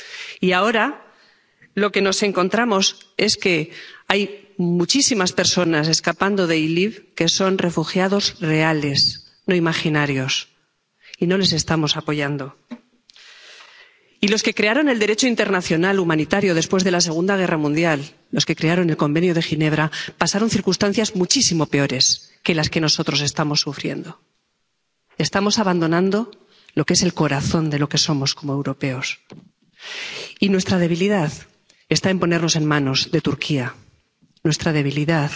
Y ahora lo que nos encontramos es que hay muchísimas personas escapando de Idlib que son refugiados reales —no imaginarios— y no les estamos apoyando. Y los que crearon el Derecho internacional humanitario después de la Segunda Guerra Mundial —los que crearon la Convención de Ginebra— pasaron por circunstancias muchísimo peores que las que nosotros estamos sufriendo. Estamos abandonando lo que es el corazón de lo que somos como europeos. Y nuestra debilidad está en ponernos en manos de Turquía. Nuestra debilidad